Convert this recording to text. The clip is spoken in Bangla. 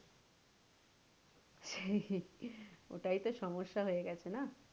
ওটাই তো সমস্যা হয়ে গেছে না?